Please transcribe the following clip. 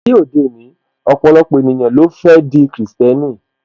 Ní ayé òde òní, ọpọlọpọ ènìyàn ni ó fẹ́ di krìstẹ́nì